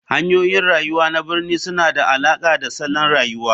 Hanyoyin rayuwa na birni suna da alaƙa da salon rayuwa.